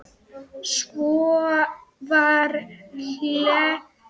Svo var hlegið mikið.